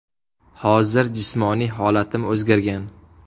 Hozir jismoniy holatim o‘zgargan.